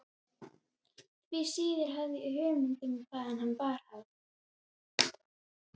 Því síður hafði ég hugmynd um hvaðan hana bar að.